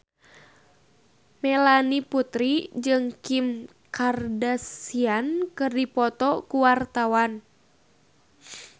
Melanie Putri jeung Kim Kardashian keur dipoto ku wartawan